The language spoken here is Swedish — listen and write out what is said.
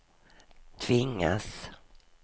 tvingas